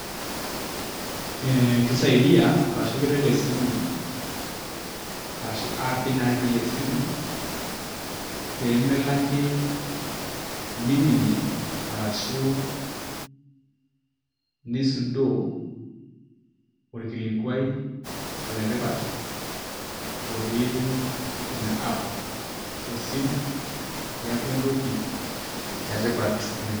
kisadia, arashu keret esimu arashu app naatii esimu pee melo ake niminie arashu, nisudoo orkilikuai letipat otii ina app esimu, neeku entoki etipat oleng.